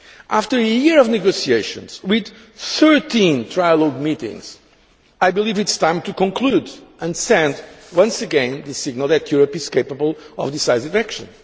After a year of negotiations, with 13 trialogue meetings, I believe it is time to conclude and send, once again, the signal that Europe is capable of decisive action.